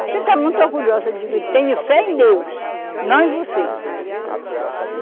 Você está muito orgulhosa, eu digo, tenho fé em Deus, não em você.